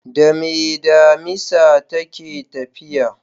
Dame damisa take tafiya?